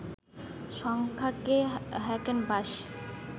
সংখ্যাকে হ্যাকেনবাশ